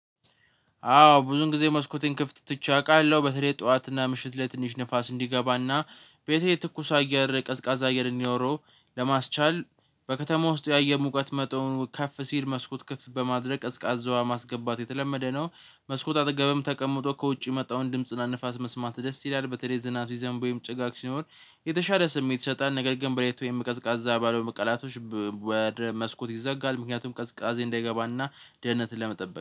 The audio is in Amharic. አዎ ብዙን ጊዜ መስኮቴን ክፍት ትቼ አውቃለሁ በተለይ ጠዋት እና ምሽት ላይ ትንሽ ንፋስ እንዲገባና ቤቴ ትኩስ አየር ቀዝቃዛ አየር እንዲኖረው ለማስቻል በከተማው ውስጥ ያየር ሙቀት መጠኑ ከፍ ሲል መስኮት ክፍት በማድረግ ቀዝቃዛ አየር ማስገባት የተለመደ ነው። መስኮት አጠገብም ተቀምጦ ከውጪ የሚመጣውን ድምጽና ንፋስ መስማት ደስ ይላል በተለይ ዝናብ ሲዘንብ ወይም ጭጋግ ሲኖር የተሻለ ስሜት ይሰጣል። ነገር ግን በለሊት ወይም ቀዝቃዛ ባልሆኑ ቀናቶች መስኮት ይዘጋል ምክንያቱም ቀዝቃዜ እንዳይገባና ደህንነትን ለመጠበቅ